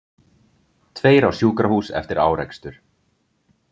Tveir á sjúkrahús eftir árekstur